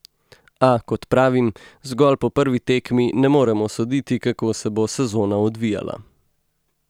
A, kot pravim, zgolj po prvi tekmi ne moremo soditi, kako se bo sezona odvijala.